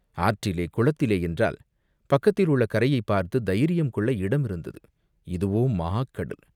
ஆற்றிலே குளத்திலே என்றால், பக்கத்தில் உள்ள கரையைப் பார்த்துத் தைரியம் கொள்ள இடமிருந்தது, இதுவோ மாகடல்.